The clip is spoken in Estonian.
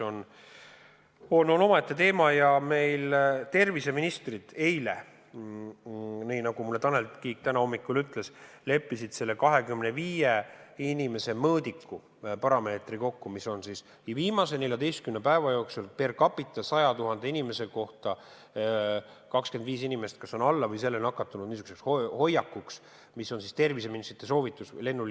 Tanel Kiik ütles mulle täna hommikul, et terviseministrid leppisid eile kokku nn 25 inimese mõõdiku: kui viimase 14 päeva jooksul keskmiselt on 100 000 inimese kohta nakatunuid alla 25 inimese, siis soovitavad terviseministrid lennuliini avada.